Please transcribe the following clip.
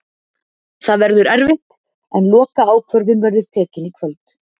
Það verður erfitt en lokaákvörðun verður tekin í kvöld.